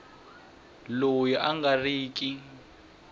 loyi a nga ri ki